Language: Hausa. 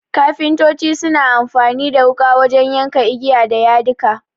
Kafintoci suna amfani da wuƙa wajen ya ka igiya da yadika.